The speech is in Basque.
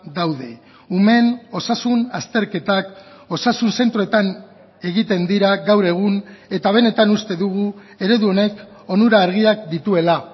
daude umeen osasun azterketak osasun zentroetan egiten dira gaur egun eta benetan uste dugu eredu honek onura argiak dituela